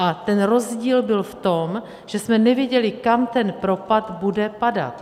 A ten rozdíl byl v tom, že jsme nevěděli, kam ten propad bude padat.